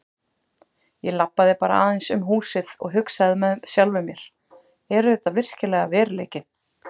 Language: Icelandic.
Ég labbaði bara aðeins um húsið og hugsaði með sjálfum mér: Er þetta virkilega veruleikinn?